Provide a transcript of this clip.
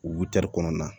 kɔnɔna na